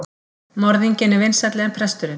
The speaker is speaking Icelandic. Morðinginn er vinsælli en presturinn.